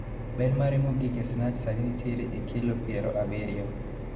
Ber mare mogik ee Snatch sani nitiere e kilo piero abiriyo.